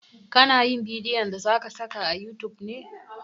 Ka na yin bidiyon da zaka saka a youtube ne?